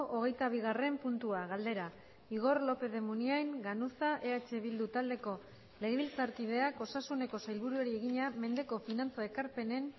hogeita bigarren puntua galdera igor lópez de munain ganuza eh bildu taldeko legebiltzarkideak osasuneko sailburuari egina mendeko finantza ekarpenen